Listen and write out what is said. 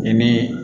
Ni min